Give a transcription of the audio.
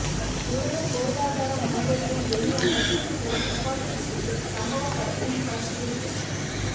உலக பொருளாதார மன்றத்தில் வெளியான தூத்துகுடி துப்பாக்கி சூடு சம்பவ படத்தின் ஃபர்ஸ்ட்லுக்